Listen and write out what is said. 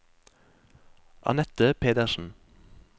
Anette Pedersen